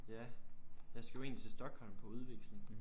Ja jeg skal jo egentlig til Stockholm på udveksling